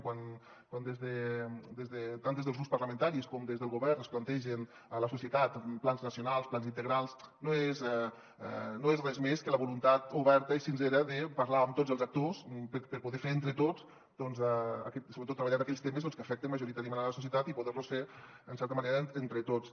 quan tant des dels grups parlamentaris com des del govern es plantegen a la societat plans nacionals plans integrals no és res més que la volun·tat oberta i sincera de parlar amb tots els actors per poder·los fer entre tots i sobre·tot treballar aquells temes que afecten majoritàriament la societat i poder·los fer en certa manera entre tots